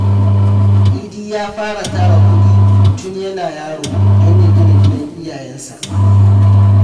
Idi ya fara tara kuɗi tun yana yaro don ya gina gidan iyayensa.